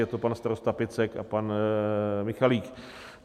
Je to pan starosta Picek a pan Michalík.